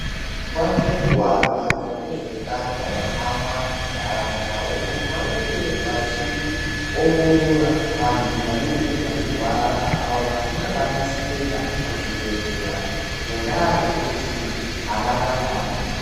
Nguwa ngenguwa vantu vezveutano vanohamba muntaraunda umo mavanenge vachiongorora vantu vanenge vachirwara avo vasingakwanisi kuenda kuzvibhedhlera ngendaa yekuti avana mare.